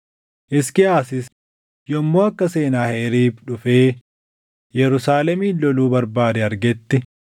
Hisqiyaasis yommuu akka Senaaheriib dhufee Yerusaalemin loluu barbaade argetti,